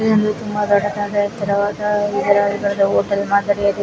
ಇದು ಒಂದು ತುಂಬಾ ದೊಡ್ಡದಾದ ಎತ್ತರವಾದ ಹೋಟೆಲ್ ಮಾದರಿಯಾಗಿದೆ.